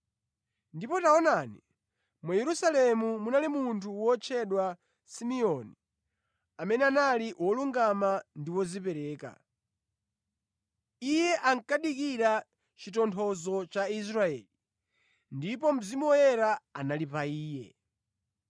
Ndipo taonani, mu Yerusalemu munali munthu wotchedwa Simeoni, amene anali wolungama ndi wodzipereka. Iye ankadikira chitonthozo cha Israeli, ndipo Mzimu Woyera anali pa iye.